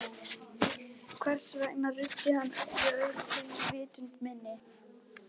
Hvers vegna ruddi hann öllu öðru til í vitund minni?